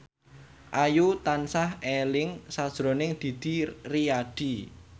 Ayu tansah eling sakjroning Didi Riyadi